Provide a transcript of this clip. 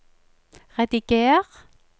rediger